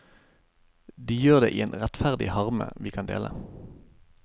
De gjør det i en rettferdig harme vi kan dele.